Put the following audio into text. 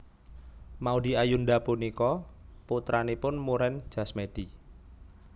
Maudy Ayunda punika putranipun Muren Jasmedi